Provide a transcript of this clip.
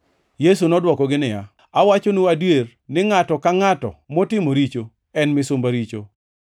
Yesu nodwokogi niya, “Awachonu adier, ni ngʼato ka ngʼato matimo richo, en misumba richo.